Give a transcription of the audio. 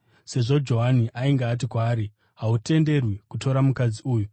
sezvo Johani ainge ati kwaari, “Hautenderwi kutora mukadzi uyu.”